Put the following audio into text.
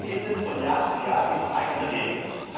Sie erfinden von Jahr zu Jahr immer neue eigene Regeln.